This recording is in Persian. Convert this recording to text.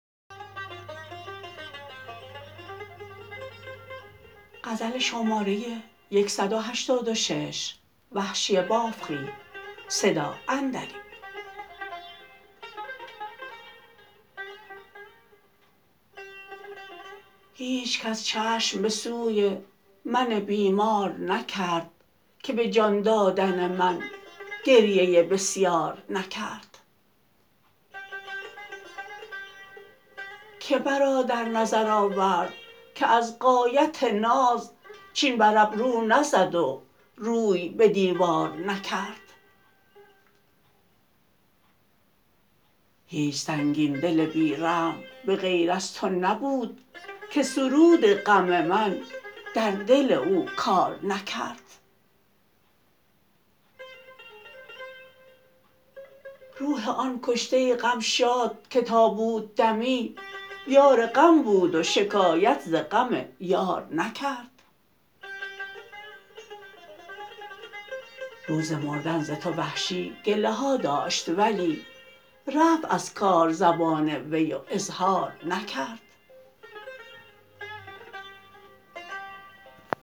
هیچکس چشم به سوی من بیمار نکرد که به جان دادن من گریه بسیار نکرد که مرا در نظرآورد که از غایت ناز چین بر ابرو نزد و روی به دیوار نکرد هیچ سنگین دل بی رحم به غیر از تو نبود که سرود غم من در دل او کار نکرد روح آن کشته غم شاد که تا بود دمی یار غم بود و شکایت ز غم یار نکرد روز مردن ز تو وحشی گله ها داشت ولی رفت از کار زبان وی و اظهار نکرد